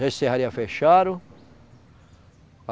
Serraria fecharam.